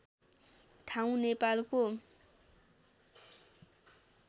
ठाउँ नेपालको